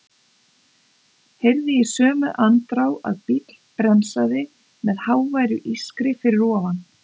Heyrði í sömu andrá að bíll bremsaði með háværu ískri fyrir ofan.